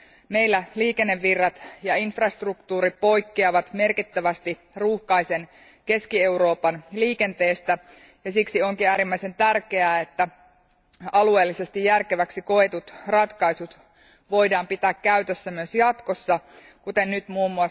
Meillä liikennevirrat ja infrastruktuuri poikkeavat merkittävästi ruuhkaisen Keski Euroopan liikenteestä, ja siksi onkin äärimmäisen tärkeää, että alueellisesti järkeväksi koetut ratkaisut voidaan pitää käytössä myös jatkossa, kuten nyt mm.